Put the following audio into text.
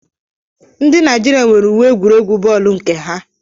Ndị Naijiria nwere uwe egwuregwu bọọlu nke ha.